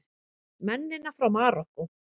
Mennina frá Marokkó!